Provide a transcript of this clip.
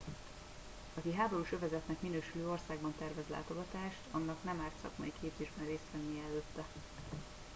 aki háborús övezetnek minősülő országba tervez látogatást annak nem árt szakmai képzésben részt vennie előtte